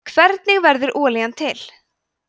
hvernig verður olían til